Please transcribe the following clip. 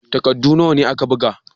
Takaddu nawa ne ka buga?l